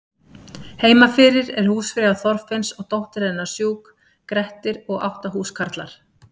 Heima fyrir er húsfreyja Þorfinns og dóttir hennar sjúk, Grettir og átta húskarlar.